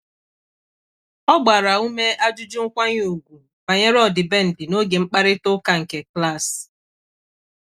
O bidoro mkparịta ụka gbasara ime ememe ezumike dị iche iche n'ebe ọrụ.